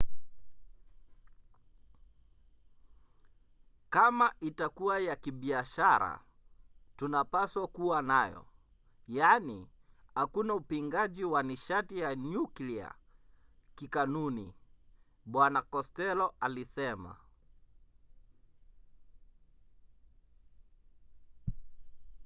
"kama itakuwa ya kibiashara tunapaswa kuwa nayo. yaani hakuna upingaji wa nishati ya nyuklia kikanuni bw costello alisema